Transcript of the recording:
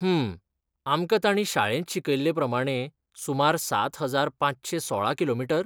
हूं, आमकां ताणीं शाळेंत शिकयल्लेप्रमाणें, सुमार सात हजार पांचशे सोळा किलोमीटर?